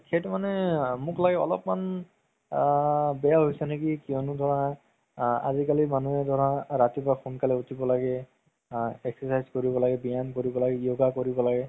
সেইটো মানে মোক লাগে অলপমান আ বেয়া হৈছে নেকি কিয়নো ধৰা আ আজিকালি মানুহে ধৰা ৰাতিপুৱা সোনকালে উথিব লাগে exercise কৰিব লাগে ব্যায়াম কৰিব লাগে yoga কৰিব লাগে